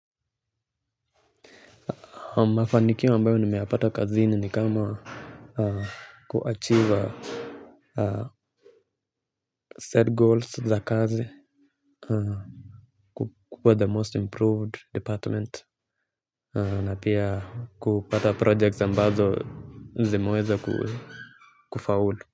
Mafanikio ambayo nimeyapata kazini ni kama kuachieve Set goals za kazi. Kukua the most improved department. Na pia kupata projects ambazo zimeweza kufaulu.